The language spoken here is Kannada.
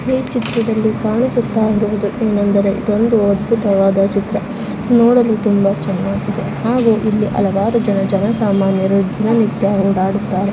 ಈ ಚಿತ್ರದಲ್ಲಿ ಕಾಣಿಸುತ್ತಾ ಇರುವುದು ಏನೆಂದರೆ ಇದೊಂದು ಅದ್ಭುತವಾದಂತಹ ಚಿತ್ರ. ನೋಡಲು ತುಂಬಾ ಚೆನ್ನಾಗಿ ಇದೆ ಹಾಗೂ ಇಲ್ಲಿ ಹಲವಾರು ಜನ ಜನಸಾಮಾನ್ಯರು ದಿನನಿತ್ಯ ಓಡಾಡುಡುತ್ತಾರೆ.